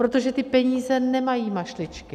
Protože ty peníze nemají mašličky.